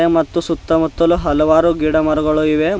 ಮತ್ತು ಸುತ್ತಮುತ್ತಲು ಹಲವಾರು ಗಿಡ ಮರಗಳು ಇವೆ.